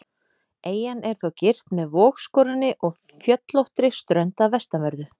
Eyjan er þó girt með vogskorinni og fjöllóttri strönd að vestanverðu.